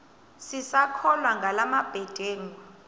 sisakholwa ngala mabedengu